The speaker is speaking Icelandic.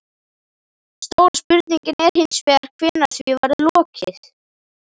Stóra spurningin er hins vegar hvenær því verður lokið?